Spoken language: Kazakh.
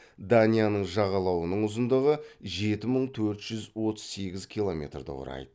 данияның жағалауының ұзындығы жеті мың төрт жүз отыз сегіз километрді құрайды